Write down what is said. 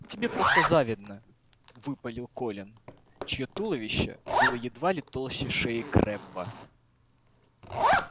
тебе просто завидно выпалил колин чьё туловище было едва ли толще шеи крэбба